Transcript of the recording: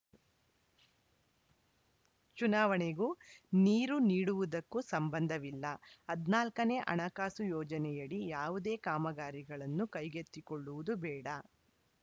ಚುನಾವಣೆಗೂ ನೀರು ನೀಡುವುದಕ್ಕೂ ಸಂಬಂಧವಿಲ್ಲ ಹದಿನಾಲ್ಕ ನೇ ಹಣಕಾಸು ಯೋಜನೆಯಡಿ ಯಾವುದೇ ಕಾಮಗಾರಿಗಳನ್ನು ಕೈಗೆತ್ತಿಕೊಳ್ಳುವುದು ಬೇಡ